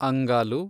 ಅಂಗಾಲು